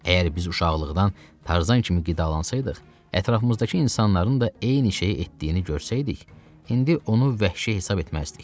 Əgər biz uşaqlıqdan Tarzan kimi qidalansaydıq, ətrafımızdakı insanların da eyni şeyi etdiyini görsəydik, indi onu vəhşi hesab etməzdik.